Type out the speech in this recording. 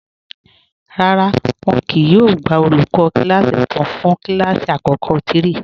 Rárá, wọn kíì yóò gbà olúkọ̀ kilasí tuntun fún kilasí akọkọ̀ 3.